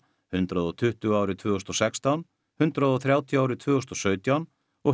hundrað og tuttugu árið tvö þúsund og sextán hundrað og þrjátíu árið tvö þúsund og sautján og